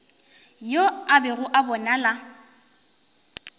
yo a bego a bonala